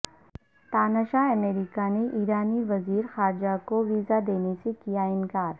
تاناشاہ امریکہ نے ایرانی وزیر خارجہ کو ویزا دینے سے کیا انکار